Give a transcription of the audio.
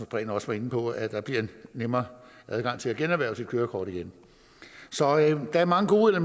prehn også var inde på at der bliver nemmere adgang til at generhverve sit kørekort igen så der er mange gode